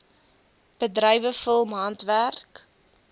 bedrywe film handwerk